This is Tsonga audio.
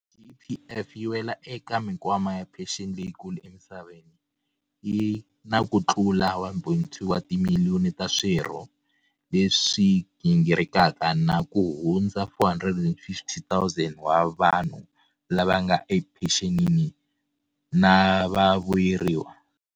GEPF yi wela eka mikwama ya phexeni leyikulu emisaveni, yi na kutlula 1.2 wa timiliyoni ta swirho leswi gingirikaka na kuhundza 450 000 wa vanhu lava nga ephenxenini na vavuyeriwa.